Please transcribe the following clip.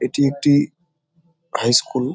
এটি একটি হাইস্কুল ।